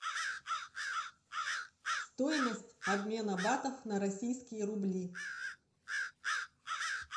стоимость обмена батов на российские рубли